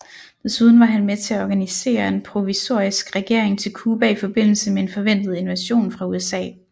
Desuden var han med til at organisere en provisorisk regering til Cuba i forbindelse med en forventet invasion fra USA